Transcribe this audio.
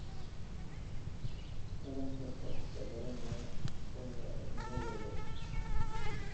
Taranka wax ka baranaya waaya aragnimadooda.